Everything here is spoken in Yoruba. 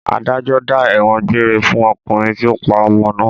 Adájọ́ dá ẹ̀wọ̀n gbére fún ọkùnrin tí ó pa ọmọ náà.